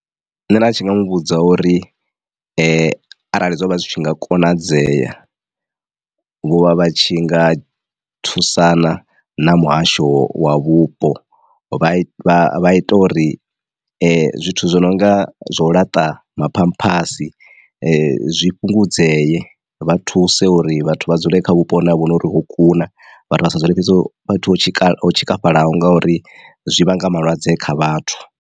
Nṋe nda tshi nga muvhudza uri arali zwo vha zwi tshi nga konadzea vho vha vha tshi nga thusana na muhasho wa vhupo vha vha ita uri zwithu zwo no nga zwo laṱa maphamphasi zwi fhungudzee, vha thuse uri vhathu vha dzule kha vhupo hune ha vha hu no uri ho kuna vhathu vha sa dzule fhethu ho tshikafhalaho ngori zwi vhanga malwadze kha vhathu.